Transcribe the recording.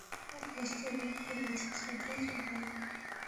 властелин колец смотреть онлайн